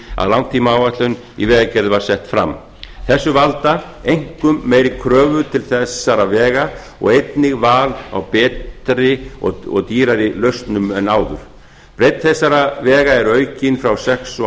að langtímaáætlun í vegagerð var sett fram þessu valda einkum meiri kröfur til þessara vega og einnig val á betri og dýrari lausnum en áður breidd þessara vega er aukin frá sex og